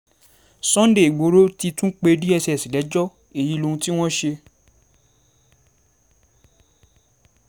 sunday igboro ti tún pe dss lẹ́jọ́ èyí lohun tí wọ́n ṣe